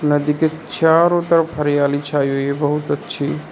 नदी के चारों तरफ हरियाली छाई हुई है बहुत अच्छी।